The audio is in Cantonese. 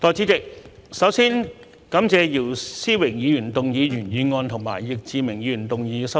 代理主席，首先感謝姚思榮議員動議原議案及易志明議員動議修正案。